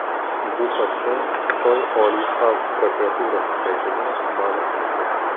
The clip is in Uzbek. Bu haqda Xitoy Oliy xalq prokuraturasi saytida ma’lum qilingan .